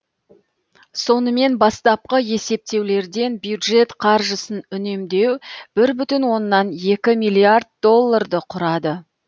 сонымен бастапқы есептеулерден бюджет қаржысын үнемдеу бір бүтін оннан екі миллиард долларды құрады